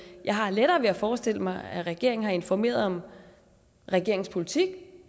jeg har lettere ved at forestille mig at regeringen har informeret om regeringens politik